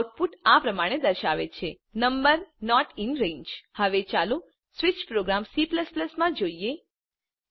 output આ પ્રમાણે દર્શાવે છે160 નંબર નોટ ઇન રંગે હવે ચાલો સ્વીચ પ્રોગ્રામ C માં જોઈએ